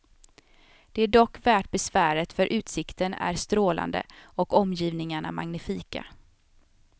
Det är dock värt besväret för utsikten är strålande och omgivningarna magnifika.